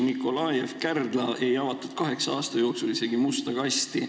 Nikolajev, Kärdla – kaheksa aasta jooksul ei avatud isegi musta kasti.